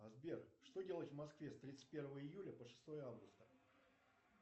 сбер что делать в москве с тридцать первого июля по шестое августа